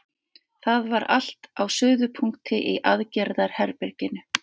Það var allt á suðupunkti í aðgerðaherberginu.